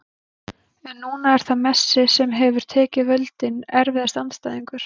en núna er það messi sem hefur tekið völdin Erfiðasti andstæðingur?